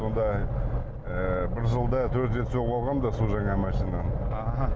сонда ыыы бір жылда төрт рет соғып алғанмын да су жаңа машинаны ааа